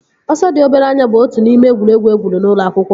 Ọsọ dị obere anya bụ otu n'ime egwuregwu egwuru n'ụlọ akwụkwọ